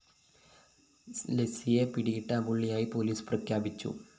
ലെസ്ലിയെ പിടികിട്ടാപ്പുളളിയായി പോലീസ് പ്രഖ്യാപിച്ചു